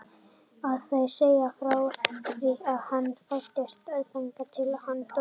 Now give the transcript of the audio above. Það er að segja frá því að hann fæddist og þangað til að hann dó.